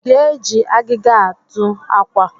Ị ga-eji agịga a adụ akwa?